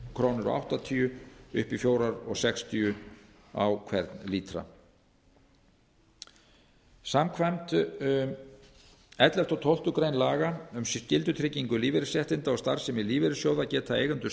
þrjú komma áttatíu til fjögurra komma sextíu krónur á hvern lítra samkvæmt ellefta og tólfta laga um skyldutryggingu lífeyrisréttinda og starfsemi lífeyrissjóða geta eigendur